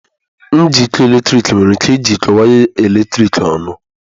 Njikọ eletrik nwere ike ijikọọ waya eletrik ọnụ